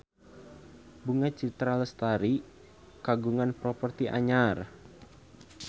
Bunga Citra Lestari kagungan properti anyar